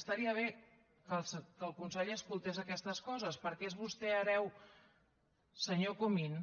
estaria bé que el conseller escoltés aquestes coses perquè és vostè hereu senyor comín